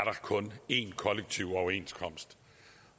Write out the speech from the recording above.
kun én kollektiv overenskomst